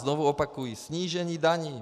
Znovu opakuji: snížení daní!